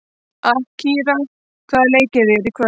Akira, hvaða leikir eru í kvöld?